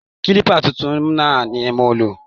Kiliba tuntun náà ni mo lò